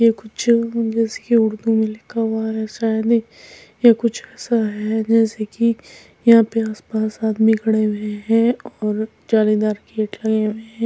ये कुछ इंग्लिश कि उर्दू में लिखा हुआ है शायद यह कुछ ऐसा है जैसे कि यहां पे आसपास आदमी खड़े हुए हैं और जालीदार गेट लगे हुए हैं।